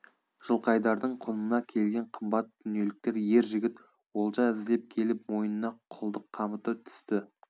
жылқайдардың құнына келген қымбат дүниеліктер ер жігіт олжа іздеп келіп мойнына құлдық қамыты түсті